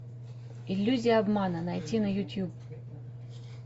иллюзия обмана найти на ютуб